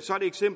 så